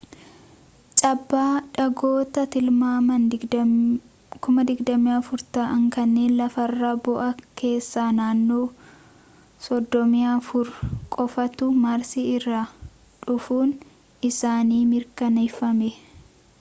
cabaa dhagoota tilmaamaan 24,000 ta'an kanneen lafarra bu'an keessaa naannoo 34 qofaatu maarsi irraa dhufuun isaanii mirkaneffame